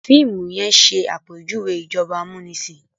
fiimu yen ṣe àpèjúwe ìjọba amunisin